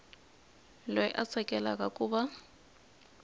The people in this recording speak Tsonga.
loyi a tsakelaka ku va